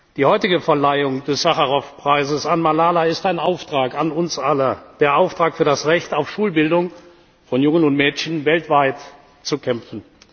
Die heutige Verleihung des Sacharow Preises an Malala ist ein Auftrag an uns alle der Auftrag, für das Recht auf Schulbildung von Jungen und Mädchen weltweit zu kämpfen.